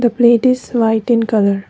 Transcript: plate is white in colour.